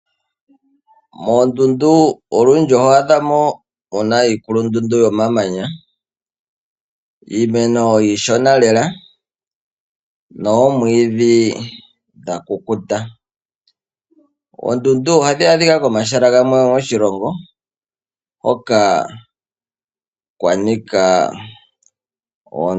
Moondundu olundji oho adha mo mu na iikulundundu yomamanya, iimeno iishona lela noomwiidhi dha kukuta. Oondundu ohadhi adhika komahala gamwe moshilongo hoka kwa nika omamanya.